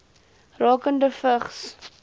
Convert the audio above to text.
rakende vigs